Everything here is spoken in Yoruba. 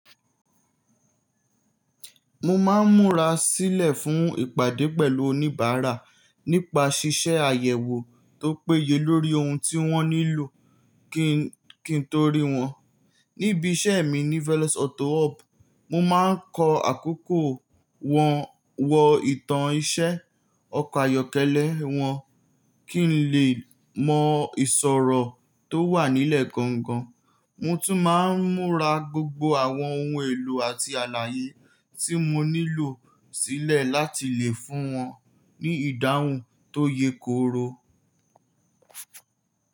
Mo máa ń múra sílẹ̀ fún ìpàdé pẹ̀lú oníbàárà nípa ṣiṣẹ́ àyẹ̀wò tó péye lórí ohun tí wọ́n nílò kí n to ri wọ́n. Níbi iṣẹ́ mi ní Velos Auto Hub, mo máa ń kọ àkókò wọn, wọ ìtàn iṣẹ́, ọkọ̀ ayọ́kẹ́lẹ́ wọn kí ń lè mọ ìṣòrọ̀ tó wà nílẹ̀ gangan. Mo tún máa ń múra gbogbo àwọn ohun èlò àti àlàyé tí mo nílò sílẹ̀ láti lè fún wọn ní ìdáhùn tó ye koro.